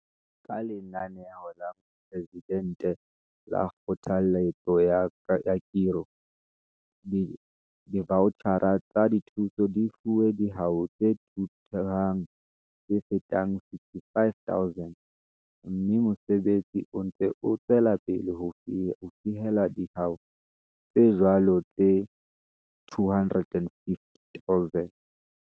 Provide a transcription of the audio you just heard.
Ka Lenaneo la Moporesidente la Kgothalletso ya Khiro, divautjhara tsa dithuso di fuwe dihwai tse thuthuhang tse fetang 65 000, mme mosebetsi o ntse o tswela pele ho fihella dihwai tse jwalo tse 250 000.